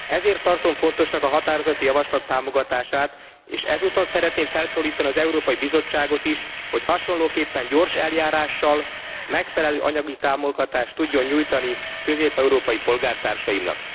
Ezért tartom fontosnak a határozati javaslat támogatását, és ezúton szeretném felszólítani az Európai Bizottságot is, hogy hasonlóképpen gyors eljárással, megfelelő anyagi támogatást tudjon nyújtani közép európai polgártársaimnak.